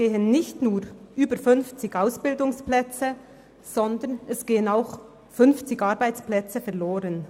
Damit gehen nicht nur über 50 Ausbildungsplätze, sondern auch 50 Arbeitsplätze verloren.